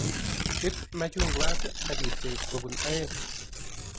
Iip machungwat akipchei kobunu aeng